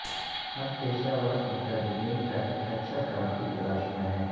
ہم پیشہ ور مترجمین کا ایک اچھا کام کی تلاش میں ہیں